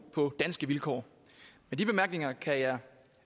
på danske vilkår med de bemærkninger kan jeg